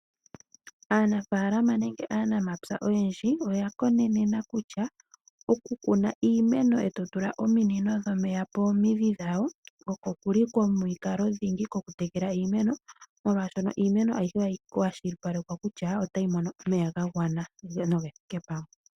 Aanafalama nenge aanamapya oyendji oya konenena kutya okukuna iimeno eto tula ominino dhomeya pomidhi dhawo osho shili omukalo dhingi gwoku tekela iimeno molwashono iimeno ayihe ohayi kwashipalekwa kutya otayi mono omeya ga gwana noge thike pamwe.